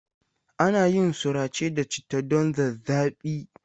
Ana yin surace da citta don zazzaɓi.